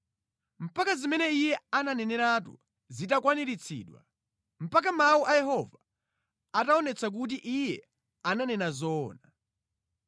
mpaka zimene Iye ananeneratu zitakwaniritsidwa, mpaka mawu a Yehova ataonetsa kuti Iye ananena zoona.